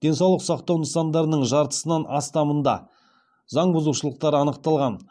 денсаулық сақтау нысандарының жартысынан астамында заң бұзушылықтар анықталған